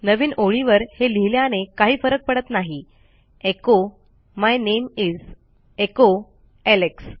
नवीन ओळीवर हे लिहिल्याने काही फरक पडत नाही echo my name is echo Alex